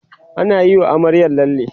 anayi wa amaryar lalle